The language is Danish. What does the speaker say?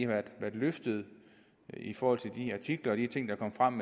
været løftet i forhold til de artikler og de ting der kom frem